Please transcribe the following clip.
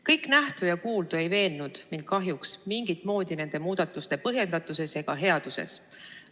Kõik nähtu ja kuuldu ei veennud mind kahjuks mingit moodi nende muudatuste põhjendatuses ega headuses.